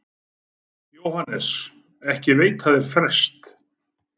JÓHANNES: Ekki veita þeir frest.